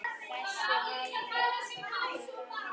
Þessu hafði pabbi gaman af.